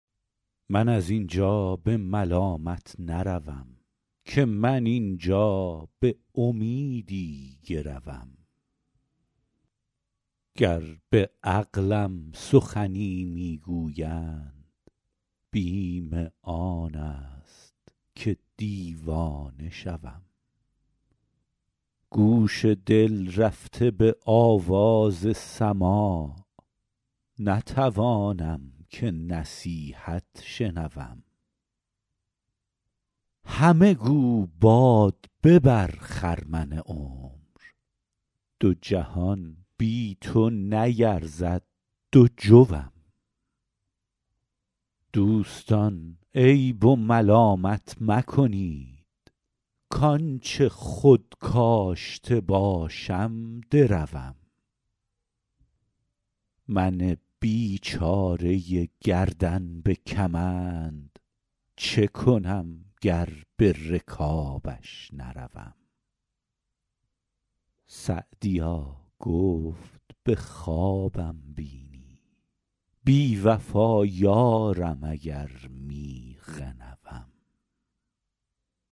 من از این جا به ملامت نروم که من این جا به امیدی گروم گر به عقلم سخنی می گویند بیم آن است که دیوانه شوم گوش دل رفته به آواز سماع نتوانم که نصیحت شنوم همه گو باد ببر خرمن عمر دو جهان بی تو نیرزد دو جوم دوستان عیب و ملامت مکنید کآن چه خود کاشته باشم دروم من بیچاره گردن به کمند چه کنم گر به رکابش نروم سعدیا گفت به خوابم بینی بی وفا یارم اگر می غنوم